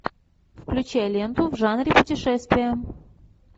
включай ленту в жанре путешествия